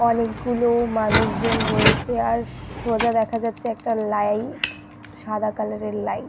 অনেক গুলো মানুষ জন রয়েছে আর সোজা দেখা যাচ্ছে একটা লাইট সাদা কালার এর লাইট --